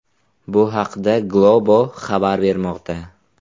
Bu haqda Globo xabar bermoqda .